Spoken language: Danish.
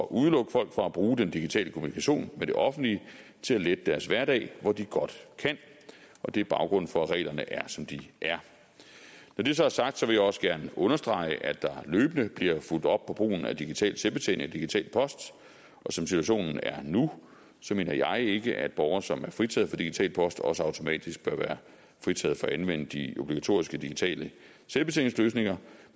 at udelukke folk fra at bruge den digitale kommunikation med det offentlige til at lette deres hverdag hvor de godt kan og det er baggrunden for at reglerne er som de er når det så er sagt vil jeg også gerne understrege at der løbende bliver fulgt op på brugen af digital selvbetjening af digital post og som situationen er nu mener jeg ikke at borgere som er fritaget for digital post også automatisk bør være fritaget for at anvende de obligatoriske digitale selvbetjeningsløsninger